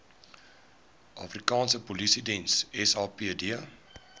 afrikaanse polisiediens sapd